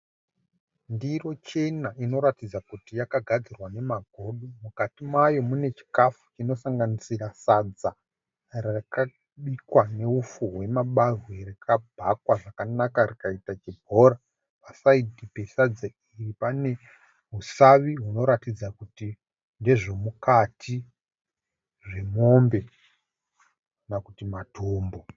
Ndiro chena inoratidza kuti yakagadzirwa nemagodo. Mukati mayo mune chikafu chinosanganisira sadza rakabikwa neupfu hwamabagwe rikabhakwa zvakanaka rikaita chibhora. Pa(side) pesadza iri pane usavi hunoratidza kuti ndezvemukati zvemombe kana kuti matumbu.